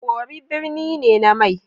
Worri birni ne na mai.